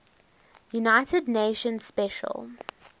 united nations special